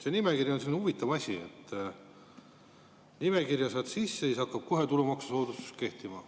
See nimekiri on selline huvitav asi, et saad nimekirja sisse ja siis hakkab kohe tulumaksusoodustus kehtima.